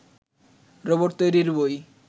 robot তৈরির বই